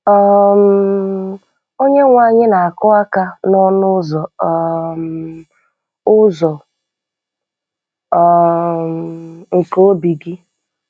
um Onyenweanyi na-akụ aka n'ọnụ ụzọ um ụzọ um nke obi gị.